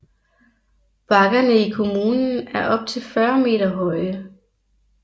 Bakkerne i kommunen er op til 40 meter høje